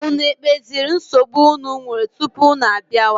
Unu ekpeziri nsogbu unu nwere tupu unu abịawa?